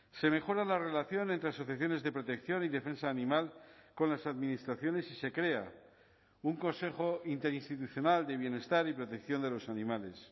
se mejora la relación entre asociaciones de protección y defensa animal con las administraciones y se crea un consejo interinstitucional de bienestar y protección de los animales